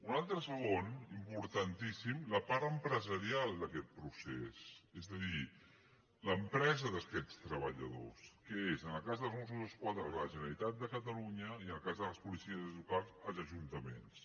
una altra segona importantíssima la part empresarial d’aquest procés és a dir l’empresa d’aquests treballadors que és en el cas dels mossos d’esquadra la generalitat de catalunya i en el cas de les policies locals els ajuntaments